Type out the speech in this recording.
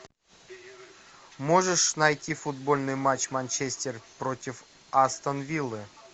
можешь найти футбольный матч манчестер против астон виллы